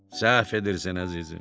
Səhv edirsən, əzizim.